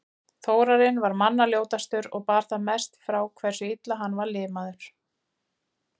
Þórarinn var manna ljótastur og bar það mest frá hversu illa hann var limaður.